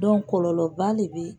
kɔlɔlɔba le beyi.